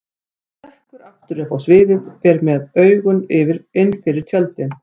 Hann stekkur aftur upp á sviðið, fer með augun innfyrir tjöldin.